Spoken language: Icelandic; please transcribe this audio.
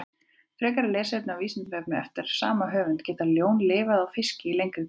Frekara lesefni á Vísindavefnum eftir sama höfund: Geta ljón lifað á fiski í lengri tíma?